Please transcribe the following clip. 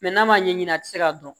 Mɛ n'a ma ɲɛ a tɛ se ka dɔn